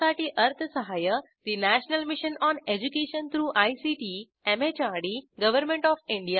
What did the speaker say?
यासाठी अर्थसहाय्य National Mission on Education through ICT MHRD Government of India यांच्याकडून मिळालेले आहे